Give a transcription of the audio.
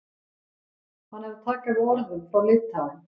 Hann er að taka við orðum frá Litáen.